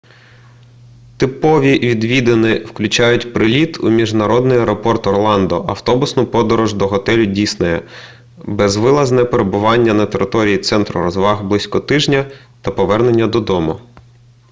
типові відвідини включають приліт у міжнародний аеропорт орландо автобусну подорож до готелю діснея безвилазне перебування на території центру розваг близько тижня та повернення додому